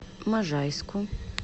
можайску